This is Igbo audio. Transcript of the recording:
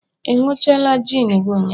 ị ịnuchala gin gi ụnyahụ?